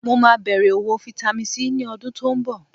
Mo máa bẹ̀rẹ̀ òwò Vitamin C ní ọdún tó ń bọ̀